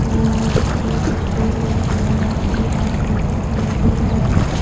बाला है एक स्टूल रखा हुआ है एक आदमी घर पे दिख रहा है।